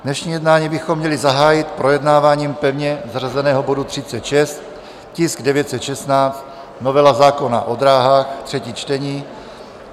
dnešní jednání bychom měli zahájit projednáváním pevně zařazeného bodu 36, tisk 916 - novela zákona o dráhách, třetí čtení.